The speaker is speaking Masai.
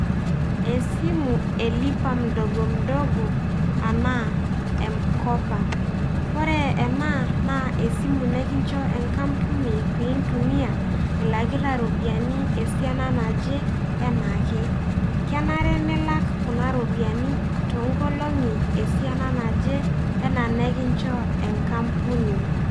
Esimu e lipa mdogo mdogo enaa M-kopa ore ena naa esimu nikincho enkampuni piintumia ilakita iropiyiani esiana naje enaake. Kenare nilak kuna ropiyiani toonkolong'i esiana naje enaa nekinchoo enkampuni.